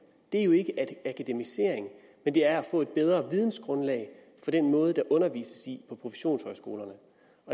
ikke akademisering men det er at få et bedre vidensgrundlag for den måde der undervises på professionshøjskolerne